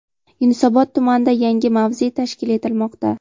Yunusobod tumanida yangi mavze tashkil etilmoqda.